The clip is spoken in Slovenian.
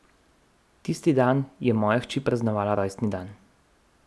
Tisti dan je moja hči praznovala rojstni dan.